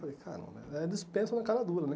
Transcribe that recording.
Falei, cara, é dispensa na cara dura, né?